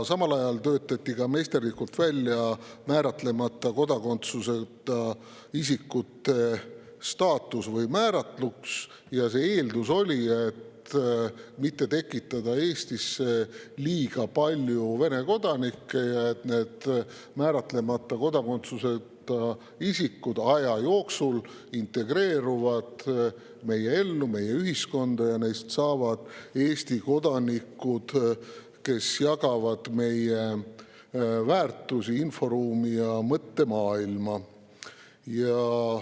Samal ajal töötati meisterlikult välja määratlemata kodakondsusega isikute staatus või määratlus, kusjuures eeldus oli, et ei ole vaja tekitada Eestisse liiga palju Vene kodanikke, määratlemata kodakondsuseta isikud aja jooksul integreeruvad meie ellu, meie ühiskonda, ja neist saavad Eesti kodanikud, kes jagavad meie väärtusi, inforuumi ja mõttemaailma.